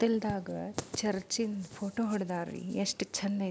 ಕಥಿಲ್ದಾಗ church ದು photo ಹೊಡುದಾರ ಎಷ್ಟು ಚಂದ್.